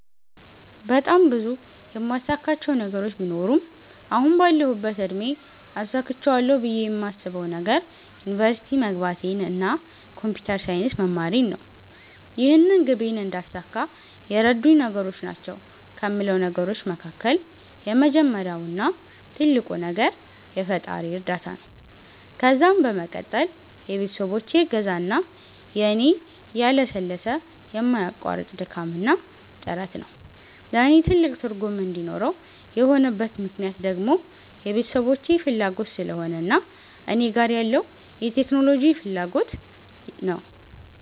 በጣም ብዙ የማሳካቸው ነገሮች ቢኖሩም አሁን ባለሁበት እድሜ አሳክቸዋለሁ ብየ የማስበዉ ነገር ዩኒቨርሲቲ መግባቴን እና ኮንፒተር ሳይንስ መማሬን ነው። ይህንን ግቤን እንዳሳካ የረዱኝ ነገሮች ናቸዉ ከሞላቸው ነገሮች መካከል የመጀመሪያው እና ትልቁ ነገር የፈጣሪየ እርዳታ ነዉ ከዛም በመቀጠል የቤተሰቦቼ እገዛ እና የኔ ያለሰለሰ የማያቋርጥ ድካምና ጥረት ነዉ። ለኔ ትልቅ ትርጉም እንዲኖረው የሆነበት ምክነያት ደግሞ የቤተሰቦቼ ፋላጎት ስለሆነ እና እኔ ጋር ያለዉ የቴክኖሎጂ ፋላጎት ነዉ።